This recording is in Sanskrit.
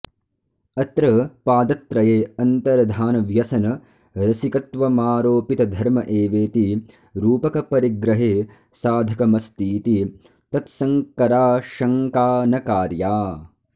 अत्र पादत्रये अन्तर्धानव्यसनरसिकत्वमारोपितधर्म एवेति रूपकपरिग्रहे साधकमस्तीति तत्सङ्कराशङ्का न कार्या